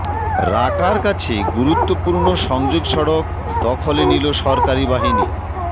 রাকার কাছে গুরুত্বপূর্ণ সংযোগ সড়ক দখলে নিল সরকারি বাহিনী